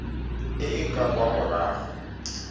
e e ka kwa morago